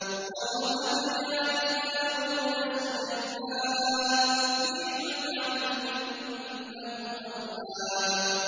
وَوَهَبْنَا لِدَاوُودَ سُلَيْمَانَ ۚ نِعْمَ الْعَبْدُ ۖ إِنَّهُ أَوَّابٌ